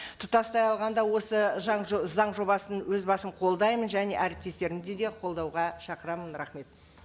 тұтастай алғанда осы заң жобасын өз басым қолдаймын және әріптестрімді де қолдауға шақырамын рахмет